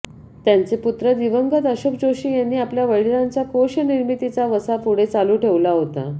त्यांचे पुत्र दिवंगत अशोक जोशी यांनी आपल्या वडिलांचा कोशनिर्मितीचा वसा पुढे चालू ठेवला होता